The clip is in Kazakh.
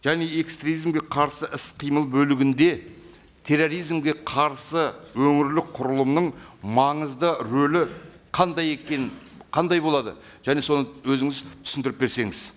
және экстремизмге қарсы іс қимыл бөлігінде терроризмге қарсы өңірлік құрылымның маңызды рөлі қандай екенін қандай болады және соны өзіңіз түсіндіріп берсеңіз